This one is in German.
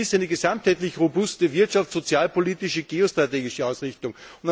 Ich vermisse eine gesamtheitlich robuste, wirtschafts und sozialpolitische geostrategische Ausrichtung.